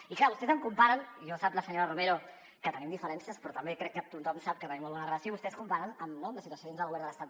i clar vostès m’ho comparen i sap la senyora romero que tenim diferències però també crec que tothom sap que tenim molt bona relació amb la situació dins del govern de l’estat